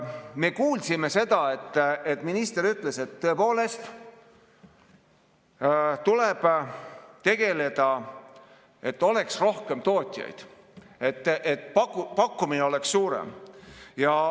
Me kuulsime, kuidas minister ütles, et tõepoolest tuleb tegeleda sellega, et oleks rohkem tootjaid, pakkumine oleks suurem.